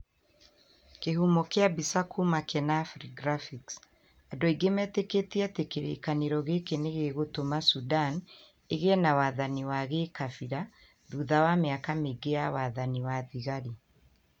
kĩhumo kia mbica kuma kenafri graphics Andu aingĩ metĩkĩtie atĩ kĩrĩĩkanĩro gĩkĩ nĩ gĩgũtũma Sudan ĩgĩe na wathani wa gĩĩkabira thutha wa mĩaka mĩingĩ ya wathani wa thigari.